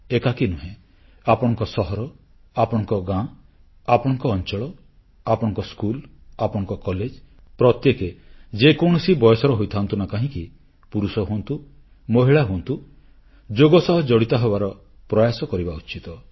ଏକାକୀ ନୁହେଁ ଆପଣଙ୍କ ସହର ଆପଣଙ୍କ ଗାଁ ଆପଣଙ୍କ ଅଂଚଳ ଆପଣଙ୍କ ସ୍କୁଲ ଆପଣଙ୍କ କଲେଜ ପ୍ରତ୍ୟେକେ ଯେକୌଣସି ବୟସର ହୋଇଥାଆନ୍ତୁ ନା କାହିଁକି ପୁରୁଷ ହୁଅନ୍ତୁ ମହିଳା ହୁଅନ୍ତୁ ଯୋଗ ସହ ଜଡ଼ିତ ହେବାର ପ୍ରୟାସ କରିବା ଉଚିତ